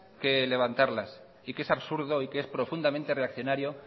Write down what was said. que levantarlas y que es absurdo y que es profundamente reaccionario